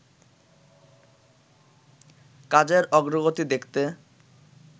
কাজের অগ্রগতি দেখতে